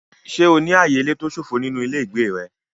Ṣé o ní ààyè ilé tó ṣófo nínú ilé ìgbé rẹ?